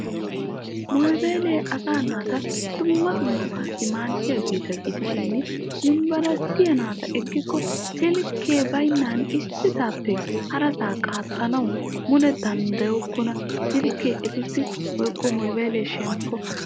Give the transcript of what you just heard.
Mobayilee asaa naata dumma dummabaassi maaddiyaageta gidishin yunberesttiyaa naata ekikko silkke baynnan issisappe harasaa qaaxxanawu mule danddayokkona. silkkee etussi woykko mobayilee shemppo.